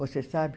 Você sabe?